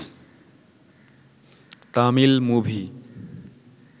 Tamil movie